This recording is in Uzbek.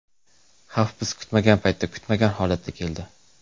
Xavf biz kutmagan paytda, kutmagan holatda keldi.